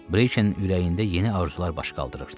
Briçenin ürəyində yeni arzular baş qaldırırdı.